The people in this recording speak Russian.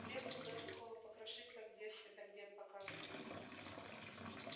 хлеба туда сухого покрошить как в детстве так дед показывал